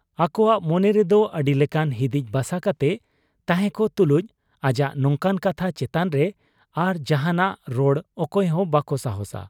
ᱟᱠᱚᱣᱟᱜ ᱢᱚᱱᱮ ᱨᱮᱫᱚ ᱟᱹᱰᱤᱞᱮᱠᱟᱱ ᱦᱤᱫᱤᱡ ᱵᱟᱥᱟ ᱠᱟᱛᱮ ᱛᱟᱦᱮᱸᱠᱚᱜ ᱛᱩᱞᱩᱡ ᱟᱡᱟᱜ ᱱᱚᱝᱠᱟᱱ ᱠᱟᱛᱷᱟ ᱪᱮᱛᱟᱱᱨᱮ ᱟᱨ ᱡᱟᱦᱟᱸᱱᱟᱜ ᱨᱚᱲ ᱚᱠᱚᱭ ᱦᱚᱸ ᱵᱟᱠᱚ ᱥᱟᱦᱟᱸᱥᱟ ᱾